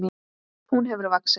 Hún hefur vaxið.